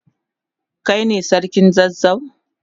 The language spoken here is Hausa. Kai ne sarkin zazzau?